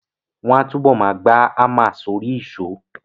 Wọ́n á túbọ̀ ma gba hámà sórí ìṣó